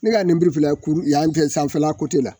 Ne ka nemuru filɛ yan fɛ sanfɛla la